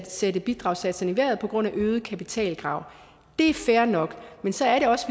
sætte bidragssatserne i vejret nemlig på grund af øget kapitalkrav det er fair nok men så